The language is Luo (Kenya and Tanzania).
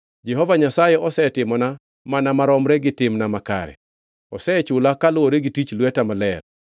“Jehova Nyasaye osetimona mana maromre gi timna makare; osechula kaluwore gi tich lweta maler.